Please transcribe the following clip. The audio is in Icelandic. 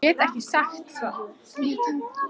Ég get ekki sagt þér það eins og stendur.